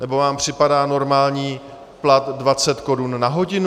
Nebo vám připadá normální plat 20 korun na hodinu?